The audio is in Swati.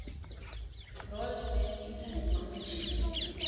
broadband internet connection